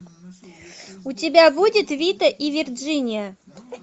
у тебя будет вита и вирджиния